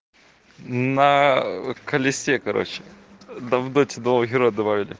на колесе короче да в доте два героя добавили